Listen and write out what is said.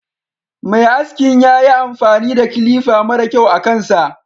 Mai askin yayi amfani da kilifa mara kyau akan sa.